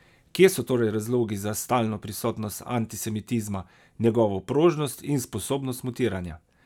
Kje so torej razlogi za stalno prisotnost antisemitizma, njegovo prožnost in sposobnost mutiranja?